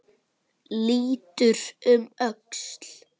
Lítur um öxl.